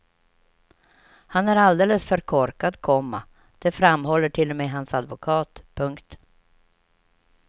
Han är alldeles för korkad, komma det framhåller till och med hans advokat. punkt